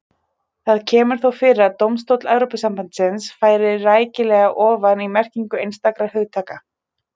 Það kemur þó fyrir að dómstóll Evrópusambandsins fari rækilega ofan í merkingu einstakra hugtaka.